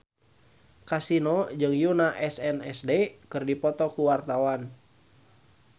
Kasino jeung Yoona SNSD keur dipoto ku wartawan